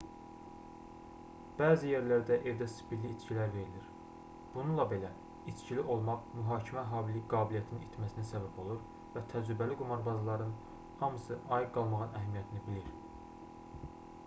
bəzi yerlərdə evdə spirtli içkilər verilir bununla belə içkili olmaq mühakimə qabiliyyətinin itməsinə səbəb olur və təcrübəli qumarbazların hamısı ayıq qalmağın əhəmiyyətini bilir